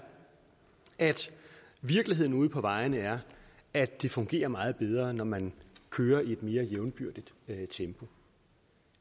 at virkeligheden ude på vejene er at det fungerer meget bedre når man kører i et mere jævnbyrdigt tempo